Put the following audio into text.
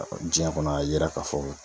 Ɔ jiɲɛ kɔnɔ a yira k'a fɔ